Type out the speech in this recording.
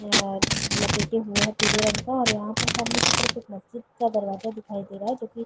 यह लपेटे हुए है पिले रंग का और यहाँ पर सामने की तरफ एक मस्जिद का दरवाजा दिखाई दे रहा है जो की --